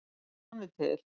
Já, hann er til.